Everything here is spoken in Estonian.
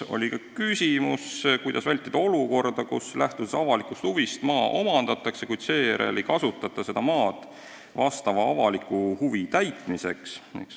Oli ka küsimus, kuidas vältida olukorda, kus lähtudes avalikust huvist maa omandatakse, kuid seejärel ei kasutata seda maad tolle avaliku huvi täitmiseks.